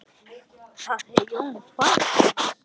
Það er Jón faðir hans.